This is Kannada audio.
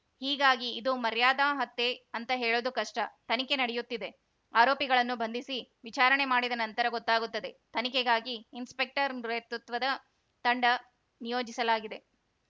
ಹೀಗಾಗಿ ಇದು ಮರ್ಯಾದಾ ಹತ್ಯೆ ಅಂತ ಹೇಳೋದು ಕಷ್ಟ ತನಿಖೆ ನಡೆಯುತ್ತಿದೆ ಆರೋಪಿಗಳನ್ನು ಬಂಧಿಸಿ ವಿಚಾರಣೆ ಮಾಡಿದ ನಂತರ ಗೊತ್ತಾಗುತ್ತದೆ ತನಿಖೆಗಾಗಿ ಇನ್ಸ್‌ಪೆಕ್ಟರ್‌ ನೇತೃತ್ವದ ತಂಡ ನಿಯೋಜಿಸಲಾಗಿದೆ